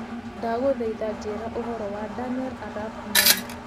Ndagũthaitha njĩĩra ũhoro wa Daniel arap moi